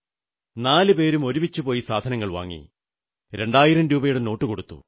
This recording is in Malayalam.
നാലുപേരും ഒരുമിച്ചു പോയി സാധനങ്ങൾ വാങ്ങി 2000 രൂപയുടെ നോട്ടു കൊടുത്തു